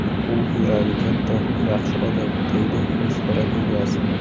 U yuragi katta, yaxshi odam”, – deydi restoran egasi.